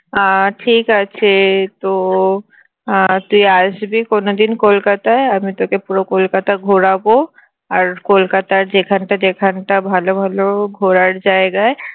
আহ ঠিক আছে তো আহ তুই আসবি কোনো দিন কলকাতায় আমি তোকে পুরো কলকাতা ঘোরাবো আর কলকাতার যেখানটা যেখানটা ভালো ভালো ঘোরার জায়গায়